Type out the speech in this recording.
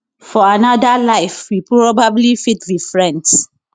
for anoda life we probably fit be friends